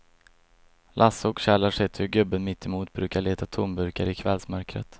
Lasse och Kjell har sett hur gubben mittemot brukar leta tomburkar i kvällsmörkret.